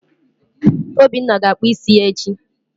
Obinna ga-akpụ isi ya echi.